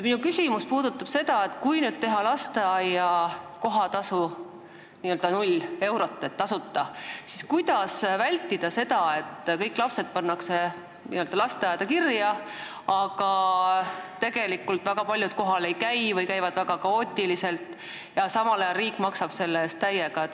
Kui nüüd küsida lasteaia kohatasu n-ö null eurot, siis kuidas vältida seda, et kõik lapsed pannakse lasteaeda kirja, aga tegelikult väga paljud kohal ei käi või käivad väga kaootiliselt ja samal ajal riik maksab selle eest täiega?